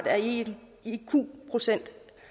er en iq procent